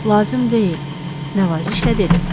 "Lazım deyil," Nəvazişlə dedi.